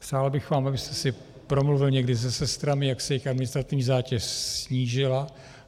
Přál bych vám, abyste si promluvil někdy se sestrami, jak se jejich administrativní zátěž snížila.